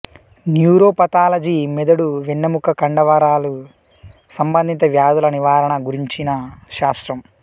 neuropathology మెదడు వెన్నెముక కండ వరాలు సంబంధిత వ్యాధుల నివారణ గురించిన శాస్త్రం